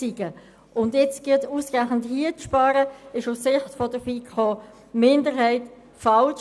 Ausgerechnet in dieser Hinsicht zu sparen, ist aus Sicht der FiKo-Minderheit falsch.